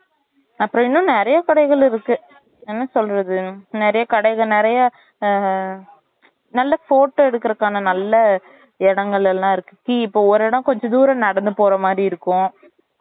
அப்புறம் இன்னும் நிறைய கடைகள் இருக்கு என்ன சொல்றது நெறைய கடைகள் நெறைய ஆஹ் நல்ல photo எடுக்குறதுக்கான நல்ல இடங்கள்ல்லாம் இருக்கு see இப்ப ஒரு இடம் கொஞ்சம் தூரம் நடந்து போறமாதிரி இருக்கும்